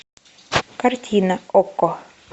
картина окко